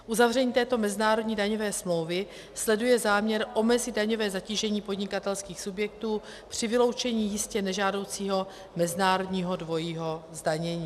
Uzavření této mezinárodní daňové smlouvy sleduje záměr omezit daňové zatížení podnikatelských subjektů při vyloučení jistě nežádoucího mezinárodního dvojího zdanění.